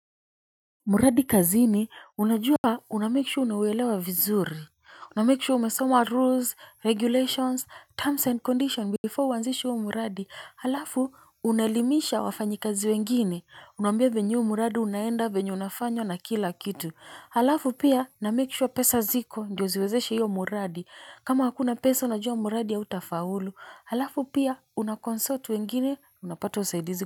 Mradi kazini unajua unamame sure unauelewa vizuri. Unamikishu umesomwa rules, regulations, terms and conditions before uanzishuwa muradi. Halafu unaelimisha wafanyi kazi wengine. Unambia venyu muradi unaenda venyu unafanywa na kila kitu. Halafu pia unamikishuwa pesa ziko ndioziwezeshe hiyo muradi. Kama hakuna pesa unajua muradi ya utafaulu. Halafu pia unakonsortu wengine unapato usaidizi.